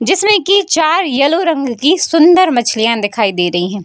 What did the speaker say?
जिसमें की चार येलो रंग की सुंदर मछलियाँ दिखाई दे रही हैं।